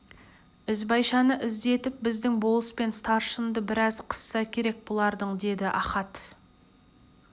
ізбайшаны іздетіп біздің болыс пен старшынды біраз қысса керек бұларың деді ахат